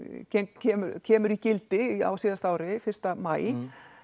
kemur kemur í gildi á síðasta ári fyrsta maí